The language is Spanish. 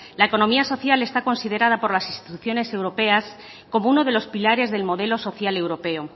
la economía social está considerada por las instituciones europeas como uno de los pilares del modelo social europeo